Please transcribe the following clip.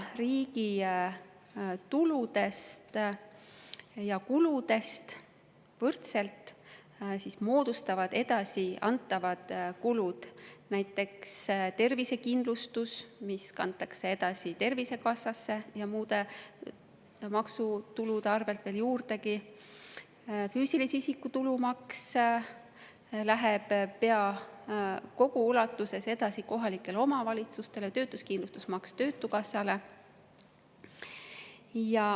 Riigi tuludest ja kuludest võrdselt moodustavad suure osa edasiantavad kulud, näiteks tervisekindlustus, mis kantakse edasi Tervisekassasse ja muude maksutulude arvel veel juurdegi, füüsilise isiku tulumaks läheb pea kogu ulatuses edasi kohalikele omavalitsustele ning töötuskindlustusmaks töötukassasse.